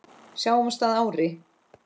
Sjáumst að ári.